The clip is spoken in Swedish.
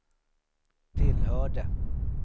tillhörde